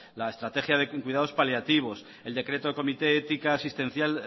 la estrategia de cuidados paliativos el decreto del comité ética asistencial